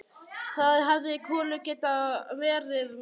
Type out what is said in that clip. Þá hefði Kolur getað verið með.